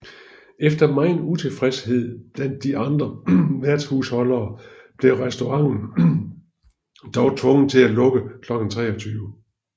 Efter meget utilfredshed blandt de andra værtshusholdere blev restauranten dog tvunget til at lukke klokken 23